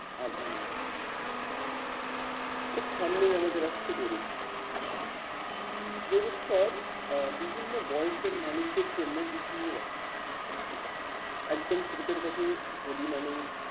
আভা নিয়ে আসে খুব সামনেই আমাদের আসছে দোল উৎসব। দোল উৎসব আহ বিভিন্ন বয়সের মানুষের জন্য বিভিন্ন রকম। একদম ছোটদের কাছে হোলি মানেই